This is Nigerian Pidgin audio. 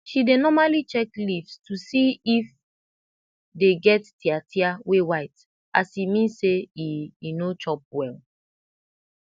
she dey normali check leaves to see if dey get tiatia wey white as e mean say e e no chop well